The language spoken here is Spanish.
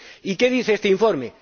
¿Y qué dice este informe?